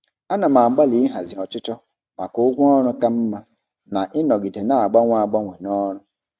Ana m agbalị ịhazi ọchịchọ maka ụgwọ ọrụ ka mma na ịnọgide na-agbanwe agbanwe n'ọrụ.